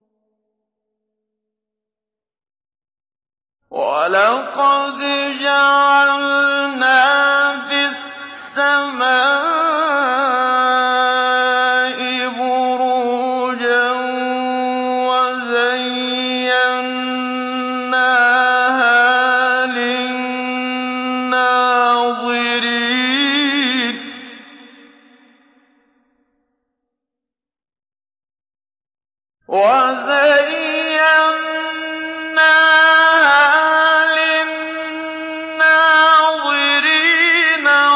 وَلَقَدْ جَعَلْنَا فِي السَّمَاءِ بُرُوجًا وَزَيَّنَّاهَا لِلنَّاظِرِينَ